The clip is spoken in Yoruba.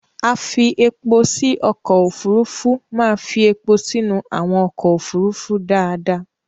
Afi-epo-sí ọkọ̀ òfurufú máa fí epo sínú àwọn ọkọ̀ òfurufú dáadáa.